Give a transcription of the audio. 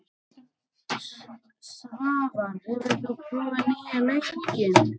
Svavar, hefur þú prófað nýja leikinn?